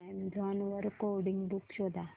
Amazon वर coding books शोधा